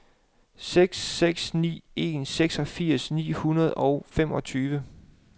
seks seks ni en seksogfirs ni hundrede og femogtyve